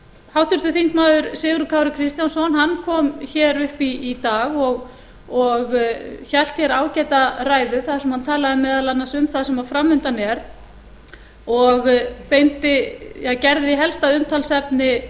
háttvirtur þingmaður sigurður kári kristjánsson hann kom hér upp í dag og hélt hér ágæta ræðu þar sem hann talaði meðal annars um það sem framundan er og gerði helst að umtalsefni